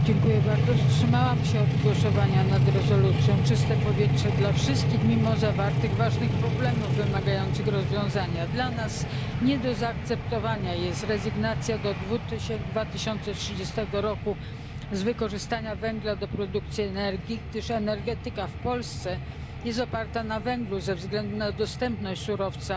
Panie Przewodniczący! Wstrzymałam się od głosowania nad rezolucją Czyste powietrze dla wszystkich mimo zawartych ważnych problemów wymagających rozwiązania. Dla nas nie do zaakceptowania jest rezygnacja do 2030 roku z wykorzystania węgla do produkcji energii, gdyż energetyka w Polsce jest oparta na węglu ze względu na dostępność surowca